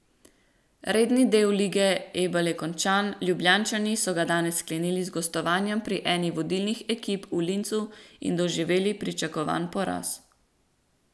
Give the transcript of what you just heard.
Redni del lige Ebel je končan, Ljubljančani so ga danes sklenili z gostovanjem pri eni vodilnih ekip v Linzu in doživeli pričakovan poraz.